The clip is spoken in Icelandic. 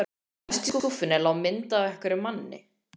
Efst í skúffunni lá mynd af einhverjum manni.